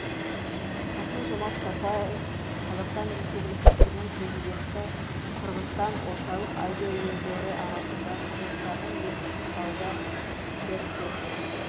қасым жомарт тоқаев қазақстан республикасының президенті қырғызстан орталық азия елдері арасында қазақстанның екінші сауда серіктесі